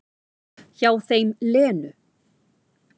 Hjá þeim Lenu.